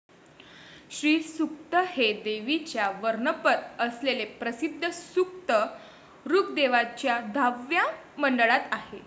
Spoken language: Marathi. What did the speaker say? श्रीसूक्त हे देवीच्या वर्णनपर असलेले प्रसिद्ध सूक्त ऋग्वेदाच्या दहाव्या मंडळात आहे.